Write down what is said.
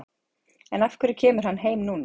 En af hverju kemur hann heim núna?